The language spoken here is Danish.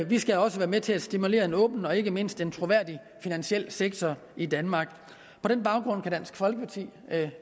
vi skal også være med til at stimulere at en åben og ikke mindst troværdig finansiel sektor i danmark på den baggrund kan dansk folkeparti